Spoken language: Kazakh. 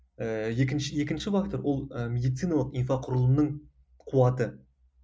ііі екінші екінші фактор ол ы медициналық инфроқұрылымының қуаты